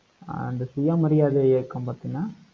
அந்த சுயமரியாதை இயக்கம் பார்த்தீங்கன்னா,